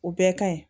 O bɛɛ ka ɲi